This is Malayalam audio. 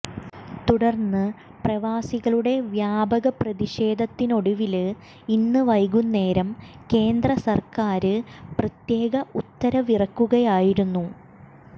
തുടര്ന്ന് പ്രവാസികളുടെ വ്യാപക പ്രതിഷേധത്തിനൊടുവില് ഇന്ന് വൈകുന്നേരം കേന്ദ്ര സര്ക്കാര് പ്രത്യേക ഉത്തരവിറക്കുകയായിരുന്നു